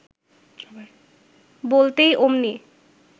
বলতেই অমনি